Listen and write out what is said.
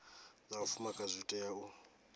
zwa vhafumakadzi zwi tea u